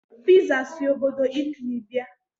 Piza si obodo Italy bịa.